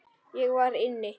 Ég var inni.